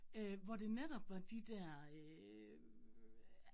Øh hvor det netop var de dér øh